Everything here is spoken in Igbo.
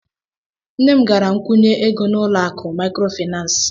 Nne m gara kwụnye ego n'ụlọ akụ maịkrofaịnans.